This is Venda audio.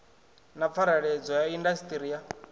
na pfareledzwa ya indasiṱiri ya